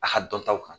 A ka dɔn taw kan